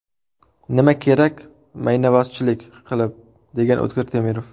Nima kerak maynabozchilik qilib”, degan O‘tkir Temirov.